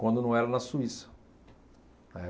Quando não era na Suíça. É